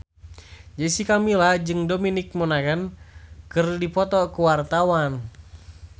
Jessica Milla jeung Dominic Monaghan keur dipoto ku wartawan